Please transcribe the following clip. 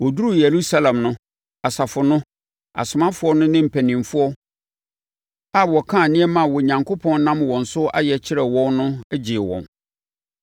Wɔduruu Yerusalem no, asafo no, asomafoɔ no ne mpanimfoɔ a wɔkaa nneɛma a Onyankopɔn nam wɔn so ayɛ kyerɛɛ wɔn no gyee wɔn.